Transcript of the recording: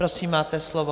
Prosím, máte slovo.